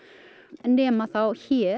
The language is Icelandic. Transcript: nema þá hér